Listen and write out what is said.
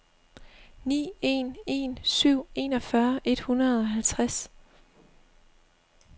ni en en syv enogfyrre et hundrede og halvtreds